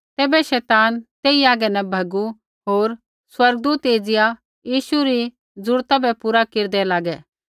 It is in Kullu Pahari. तैबै शैतान तेई हागै न भैगू होर स्वर्गदूत एज़िया यीशु री जरूरता बै पूरा केरदै लागै